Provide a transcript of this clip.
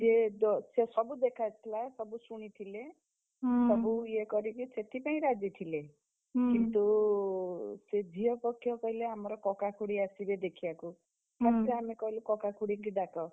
ସିଏ ଦୋ ସିଏ ସବୁ ଦେଖାହେଇଥଲା ସବୁ ଶୁଣିଥିଲେ। ସବୁ ଇଏ କରିକି ସେଥିପାଇଁ ରାଜି ଥିଲେ। କିନ୍ତୁ, ସେ ଝିଅ ପକ୍ଷ କହିଲେ ଆମର କକା ଖୁଡୀ ଆସିବେ ଦେଖିଆକୁ। first ଆମେ କହିଲୁ କକା ଖୁଡୀଙ୍କୁ ଡାକ,